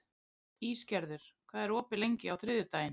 Ísgerður, hvað er opið lengi á þriðjudaginn?